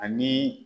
Ani